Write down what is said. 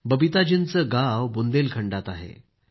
बबीताजींचे गाव बुंदलखंडात आहे